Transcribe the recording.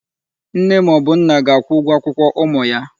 Nne ma o bu ga-akwụ ụgwọ akwụkwọ ụmụ ya.